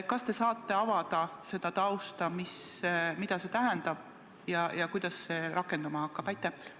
Kas te saate avada seda tausta, mida see tähendab ja kuidas see rakenduma hakkab?